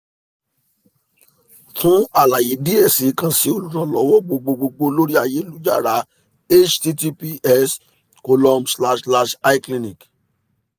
fun alaye diẹ sii kan si oluranlọwọ gbogbogbo lori ayelujara https column slash slash icliniq